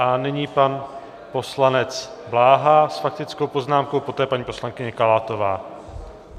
A nyní pan poslanec Bláha s faktickou poznámkou, poté paní poslankyně Kalátová.